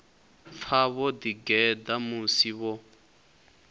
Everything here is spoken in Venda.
pfa vho ḓigeḓa musi vho